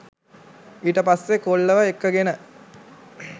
ඊට පස්සෙ කොල්ලව එක්කගෙන